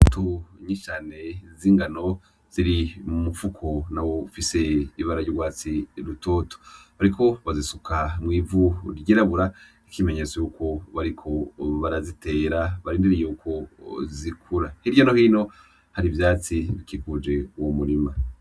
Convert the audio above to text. Imbuto nyinshi cane z'ingano ziri mu mufuko nawo ufise ibara ry'urwatsi rutoto, bariko bazisuka mw'ivu ryirabura nk'ikimenyetso yuko bariko barazitera barindiriye yuko zikura, hirya no hino hari ivyatsi bikikuje uwo murima.